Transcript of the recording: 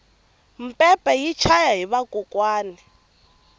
mpepe yi chaya hi vakokwani